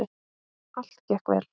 Allt gekk vel.